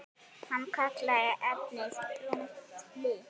Hann kallaði efnið brúnt blý.